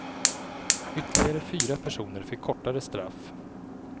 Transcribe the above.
Ytterligare fyra personer fick kortare straff.